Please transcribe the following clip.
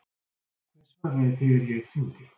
Hver svaraði þegar ég hringdi?